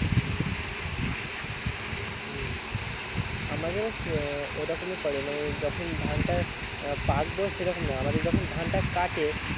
হম আমাদের ওই রকমেই করে মানে যখন ধনটা উম পাকবো সেরকম না আমাদের যখন ধনটা কাটে